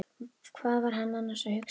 Hvað var hann annars að hugsa?